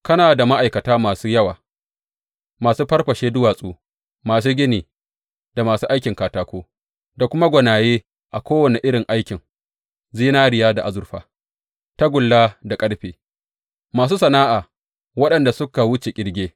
Kana da ma’aikata masu yawa, masu fafarshe duwatsu, masu gini da masu aikin katako, da kuma gwanaye a kowane irin aikin zinariya da azurfa, tagulla da ƙarfe, masu sana’a waɗanda suka wuce ƙirge.